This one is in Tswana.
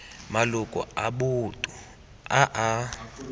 maloko a boto a a